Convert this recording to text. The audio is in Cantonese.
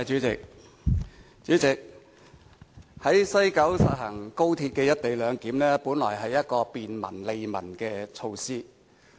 主席，在西九實行高鐵"一地兩檢"，本來是一項便民、利民的措施。